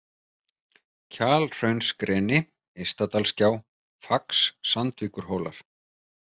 Kjalhraunsgreni, Ystadalsgjá, Fax, Sandvíkurhólar